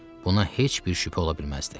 Buna heç bir şübhə ola bilməzdi.